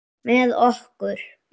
Með okkur?